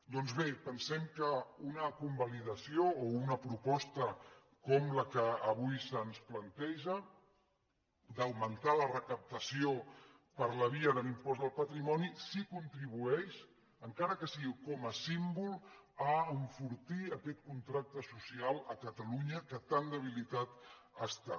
doncs bé pensem que una convalidació o una proposta com la que avui se’ns planteja d’augmentar la recaptació per la via de l’impost del patrimoni sí que contribueix encara que sigui com a símbol a enfortir aquest contracte social a catalunya que tan debilitat està